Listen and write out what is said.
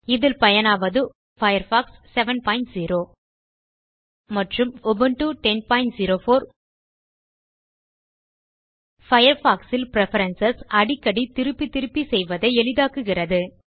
இதில் பயனாவது உபுண்டு 1004 மற்றும் பயர்ஃபாக்ஸ் 70 பயர்ஃபாக்ஸ் இல் பிரெஃபரன்ஸ் அடிக்கடி திருப்பி திருப்பி செய்வதை எளிதாக்குகிறது